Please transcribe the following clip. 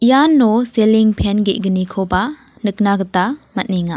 iano seling pen ge·gnikoba nikna gita man·enga.